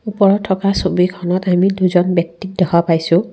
ওপৰত থকা ছবিখনত আমি দুজন ব্যক্তিক দেখা পাইছোঁ।